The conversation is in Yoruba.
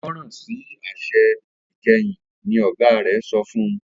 gbọràn sí àṣẹ ìkẹyìn! ní ọgá rẹ sọfún